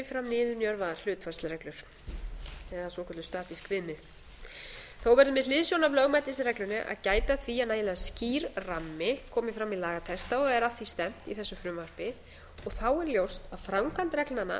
fram niðurnjörvaðar hlutfallsreglur eða svokölluð statísk viðmið þó verður með hliðsjón af lögmætisreglunni að gæta að því að nægilega skýr rammi komi fram í lagatexta og er að því stefnt í þessu frumvarpi og þá er ljóst að framkvæmd reglna verður að vera